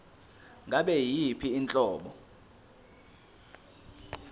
ngabe yiyiphi inhlobo